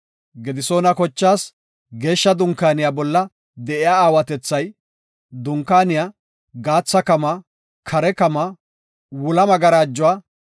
Gedisoona kochaas Geeshsha Dunkaaniya bolla de7iya aawatethay, Dunkaaniya, gaatha kamaa, kare kamaa, wula magarajuwa,